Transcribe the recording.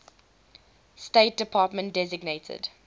state department designated